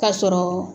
Ka sɔrɔ